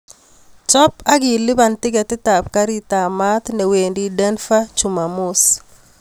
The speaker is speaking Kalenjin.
Chob ak iluban tketit ab garit ab maat newendi denver chumamos